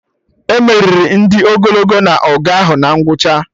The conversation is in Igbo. E meriri ndị ogologo na-ọgụ ahụ na ngwụcha